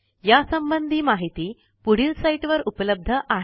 यासंबंधी माहिती पुढील साईटवर उपलब्ध आहे